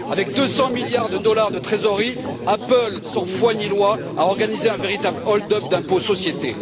Avec 200 milliards de dollars de trésorerie, Apple, sans foi ni loi, a organisé un véritable hold up d'impôt sur les sociétés.